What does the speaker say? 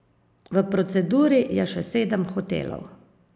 V proceduri je še sedem hotelov.